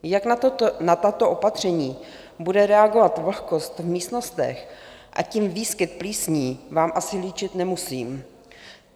Jak na tato opatření bude reagovat vlhkost v místnostech a tím výskyt plísní, vám asi líčit nemusím.